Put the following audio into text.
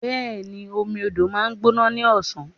Bẹ́ẹ̀ni, omi odò ma ń gbóná ní ọ̀sán.